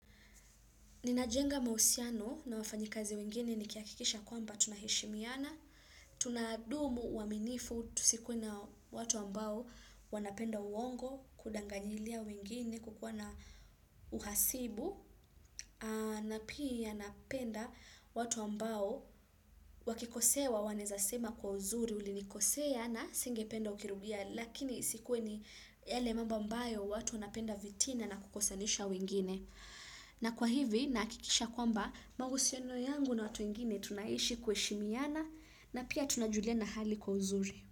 Ninajenga mauhusiano na wafanyikazi wengine nikihakikisha kwamba tunaheshimiana, tunadumu uaminifu, tusikuwe na watu ambao wanapenda uongo, kudanganyilia wengine, kukua na uhasibu, na pia napenda watu ambao wakikosewa wanawezasema kwa uzuri ulinikosea na singependa ukirudia, lakini isikuwe ni yale mambo ambayo watu wanapenda vitina na kukosanisha wengine. Na kwa hivi nahakikisha kwamba mahusiano yangu na watu wengine tunaishi kuheshimiana na pia tunajuliana hali kwa uzuri.